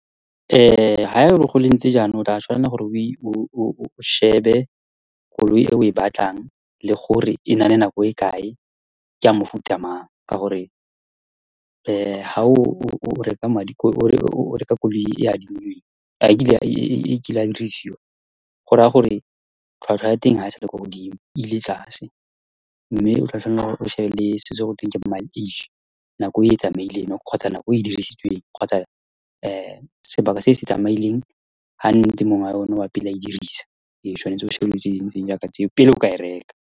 Ga e ba ho ntse jaana o tla tshwanela gore o shebe koloi e o e batlang le gore e na le nako e kae, ke ya mofuta mang ka gore ga o reka koloi e adimilweng e kileng ya berekisiwa go raya gore tlhwatlhwa ya teng ga e sa le kwa godimo ile tlase. Mme o tla tshwanela le gore o shebe selo se go teng ke mileage, nako e e tsamaileng kgotsa nako e e dirisitsweng kgotsa sebaka se se tsamaileng gantsi mongwe yone wa pele a e dirisa e tshwanetse go pele o ka e reka.